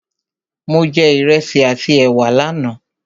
Mo jẹ Ìrẹsi àti ẹ̀wà lánà